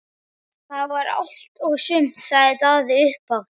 Það var allt og sumt, sagði Daði upphátt.